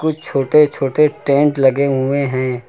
कुछ छोटे छोटे टेंट लगे हुए हैं।